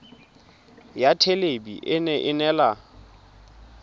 ya thelebi ene e neela